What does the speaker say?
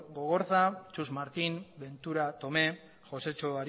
gogorza txus martín ventura tomé josetxo